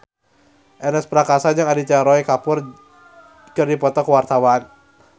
Ernest Prakasa jeung Aditya Roy Kapoor keur dipoto ku wartawan